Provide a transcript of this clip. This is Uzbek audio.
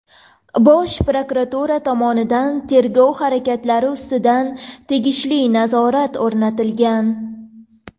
Bosh prokuratura tomonidan tergov harakatlari ustidan tegishli nazorat o‘rnatilgan.